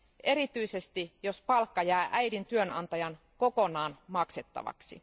erityisesti jos palkka jää äidin työnantajan kokonaan maksettavaksi.